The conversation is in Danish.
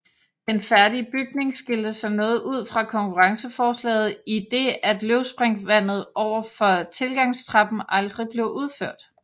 Den færdige bygning skilte sig noget ud fra konkurrenceforslaget i det at løvespringvandet ovenfor tilgangstrappen aldrig blev udført